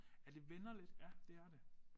Ja det vender lidt ja det er det